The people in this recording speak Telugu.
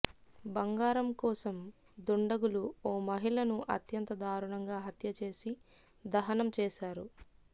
బంగారం కోసం దుండగులు ఓ మహిళను అత్యంత దారుణంగా హత్యచేసి దహనం చేశారు